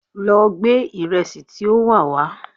Lọ gbé ìrẹsì tí ó wà wá!